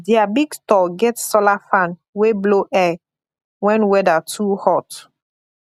their big store get solar fan wey blow air when weather too hot